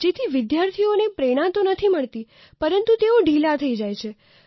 જેથી વિદ્યાર્થીઓને પ્રેરણા તો નથી મળતી પરંતુ તેઓ ઢીલા થઈ જાય છે